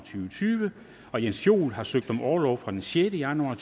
tyve og jens joel har søgt om orlov fra den sjette januar